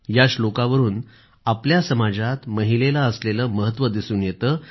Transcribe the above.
या श्लोकावरून आपल्या समाजात महिलेला असलेलं महत्व दिसून येतं